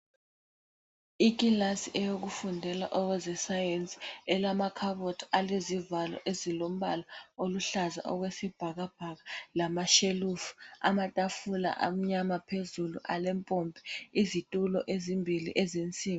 Ikilasi eyokufundela okwezeSayensi elamakhabothi alezivalo ezilombala oluhlaza okwesibhakabhaka, lamashelufu, amatafula amnyama phezulu alempompi, izitulo ezimbili ezensimbi.